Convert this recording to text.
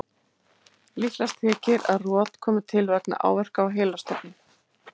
Líklegast þykir að rot komi til vegna áverka á heilastofninn.